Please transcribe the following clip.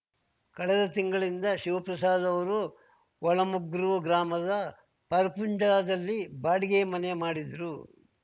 ಕಳೆದ ತಿಂಗಳಿನಿಂದ ಶಿವಪ್ರಸಾದ್ ಅವರು ಒಳಮೊಗ್ರು ಗ್ರಾಮದ ಪರ್ಪುಂಜದಲ್ಲಿ ಬಾಡಿಗೆ ಮನೆ ಮಾಡಿದ್ರು